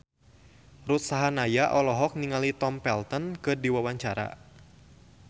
Ruth Sahanaya olohok ningali Tom Felton keur diwawancara